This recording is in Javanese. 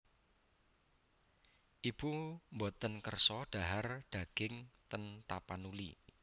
Ibu mboten kersa dhahar daging ten Tapanuli